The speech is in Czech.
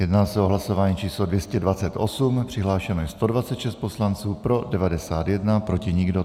Jedná se o hlasování číslo 228, přihlášeno je 126 poslanců, pro 91, proti nikdo.